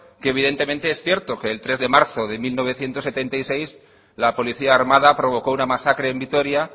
evidentemente es cierto que el tres de marzo de mil novecientos setenta y seis la policía armada provocó una masacre en vitoria